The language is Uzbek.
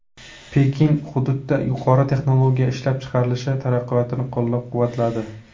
Pekin hududda yuqori texnologiya ishlab chiqarilishi taraqqiyotini qo‘llab-quvvatladi.